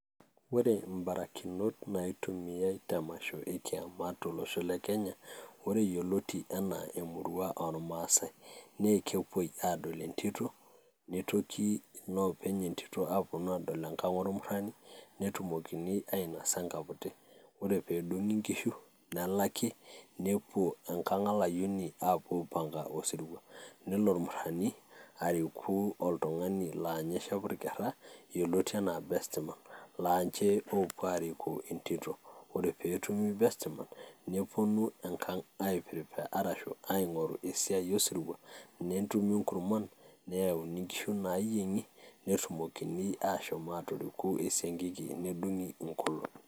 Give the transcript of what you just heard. Ore imabarakinot naitumiyai tolosho le Kenya ore yioloti enaa emurua ormaasai naa ekepuoi aadol entito, nitoki inoopeny entito aapuo aadol enkang' ormurrani netumokini ainosa enkaputi, ore peedung'i inkishu nelaki nepuo enkang' olayioni aapuo aipanga osirua, nelo ormurrani ariku oltung'ani laa ninye shepu irrkerra yioloti enaa bestman laa ninche oopuo aariku entito, ore pee etumi bestman neponu enkang' ai prepare arashu aing'oru esiai osirua netumi inkurman, nayakini inkishu naayieng'i netumokini aashom aatoriku esiangiki nedung'i inkolong'i.